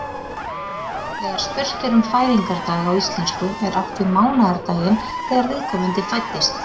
Þegar spurt er um fæðingardag á íslensku er átt við mánaðardaginn þegar viðkomandi fæddist.